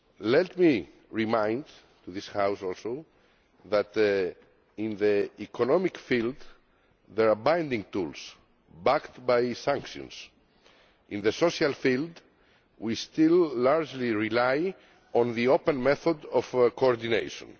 Let me remind this House also that in the economic field there are binding tools backed by sanctions. In the social field we still largely rely on the open method of coordination.